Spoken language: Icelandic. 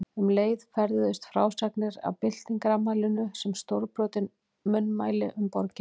Um leið ferðuðust frásagnir af byltingarafmælinu sem stórbrotin munnmæli um borgina.